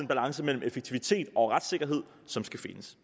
balance mellem effektivitet og retssikkerhed som skal findes